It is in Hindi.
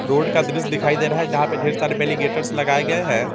रोड का दृश्य दिखाई दे रहा है जहां पे ढेर सारे लगाए गए हैं।